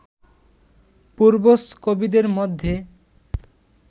পূর্বজ কবিদের মধ্যে